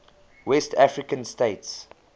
west african states